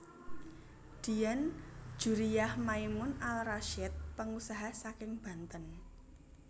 Dian Djuriah Maimun Al Rasyid pengusaha saking Banten